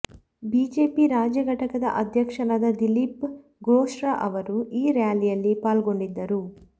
BJP ರಾಜ್ಯ ಘಟಕದ ಅಧ್ಯಕ್ಷರಾದ ದಿಲೀಪ್ ಘೋಶ್ರವರು ಈ ರ್ಯಾಲಿಯಲ್ಲಿ ಪಾಲ್ಗೊಂಡಿದ್ದರು